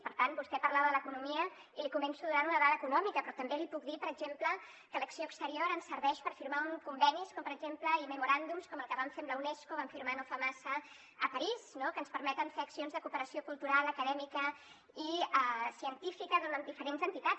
per tant vostè parlava de l’economia i li començo donant una dada econòmica però també li puc dir per exemple que l’acció exterior ens serveix per firmar convenis com per exemple i memoràndums com el que vam fer amb la unesco el vam firmar no fa massa a parís no que ens permeten fer accions de cooperació cultural acadèmica i científica amb diferents entitats